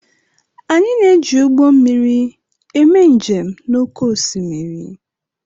Anyị na-eji ụgbọ mmiri eme njem n'oké osimiri